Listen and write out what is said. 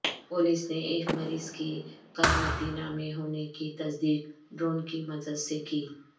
police نے ایک مریض کی قرنطینہ میں ہونے کی تصدیق ڈرون کی مدد سے کی